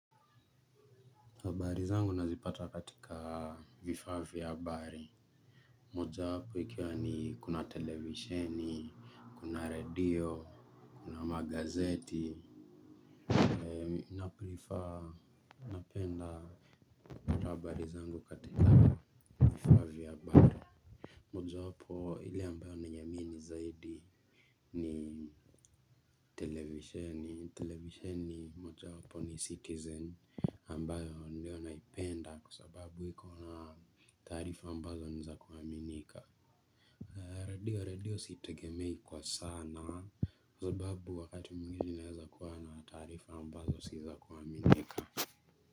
Habari zangu nazipata katika vifaa vya habari. Mojawapo ikiwa ni kuna televisheni, kuna redio, kuna magazeti. Naprefer napenda kutoa habari zangu katika vifaa vya habari. Moja wapo ile ambayo naiamini zaidi ni televisheni. Televisheni moja wapo ni citizen ambayo ndio naipenda kwasababu iko na taarifa ambazo ni za kuaminika. Redio redio sitegemei kwa sana sababu wakati mwingine inaweza kuwa na taarifa ambazo si za kuaminika.